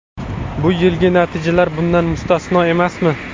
Bu yilgi natijalar bundan mustasno emasmi?